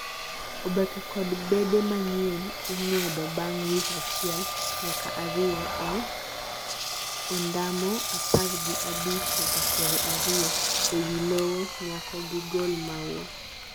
oboke kod bede manyien ing'wedo bang' wik achiel nyaka ariyo e ondamo apar gi abich nyaka piero ariyo e wi lowo nyako gigol maua